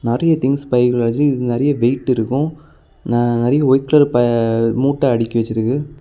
நெறய திங்ஸ் பைக்குள்ள வச்சி நெறய வெயிட் இருக்கும் நெறய ஒயிட் கலர் பா மூட்ட அடுக்கி வச்சிருக்கு.